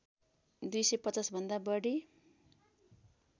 २५० भन्दा बढी